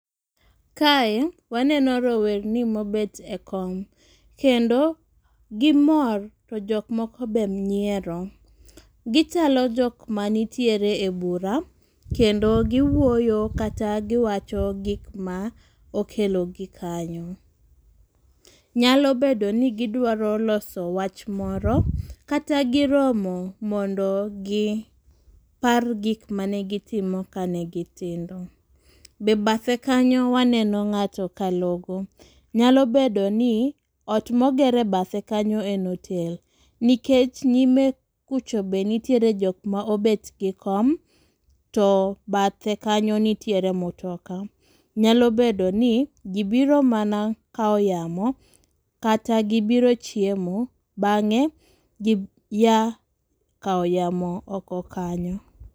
Kae waneno rowerni mobet e kom kendo gimor to jok moko be nyiero. Gichalo jok manitiere e bura kendo giwuoyo kata giwacho gik ma okelo gi kanyo. Nyalo bedo ni gidwaro loso wach moro kata giromo mondo gi par gik mane gitimo kane gitindo . Be bathe kanyo waneno ng'ato ka logo nyalo bedo ni ot moger e bathe kanyo en otel nikech nyime kucho be ntie jok mobet gi kom to bathe kanyo nitiere mutoka nyalo bedo ni gibiro mana kawo yamo kata gibiro chiemo bang'e gi ya kawo yamo oko kanyo.